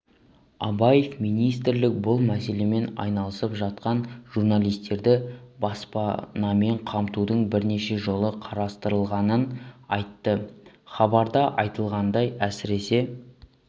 абаев министрлік бұл мәселемен айналысып жатқанын журналистерді баспанамен қамтудың бірнеше жолы қарастырылғанын айтты хабарда айтылғандай әсіресе